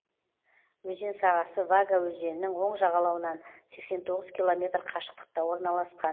өзен сағасы вага өзенінің оң жағалауынан сексен тоғыз километр қашықтықта орналасқан